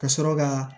Ka sɔrɔ ka